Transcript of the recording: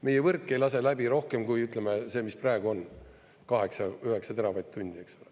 Meie võrk ei lase läbi rohkem kui see, mis praegu on, 8–9 teravatt-tundi, eks.